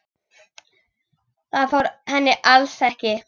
Það fór henni alls ekki.